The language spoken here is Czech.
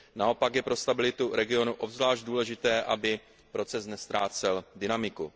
Naopak je pro stabilitu regionu obzvlášť důležité, aby proces neztrácel dynamiku.